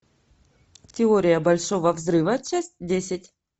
теория большого взрыва часть десять